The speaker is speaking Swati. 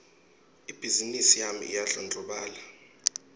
ibhizimisi yami iyandlondlobala